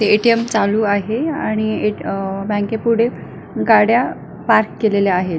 ATM चालू आहे आणि अ बँके पुढे गाड्या पार्क केलेल्या आहेत.